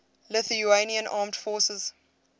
lithuanian armed forces